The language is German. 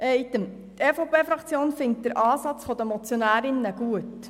Zum Vorstoss: Die EVP-Fraktion findet den Ansatz der Motionärinnen gut.